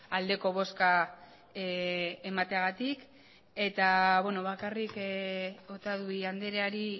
aldeko bozka emateagatik eta bakarrik otadui andreari